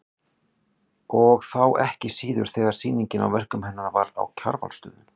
Og þá ekki síður þegar sýningin á verkum hennar var á Kjarvalsstöðum.